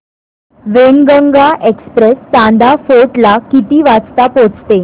Wainganga express Chanda fort ला किती वाजता पोहचते